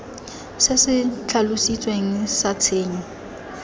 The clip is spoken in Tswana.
se se tlhalositsweng sa tshenyo